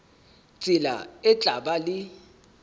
tsela e tla ba le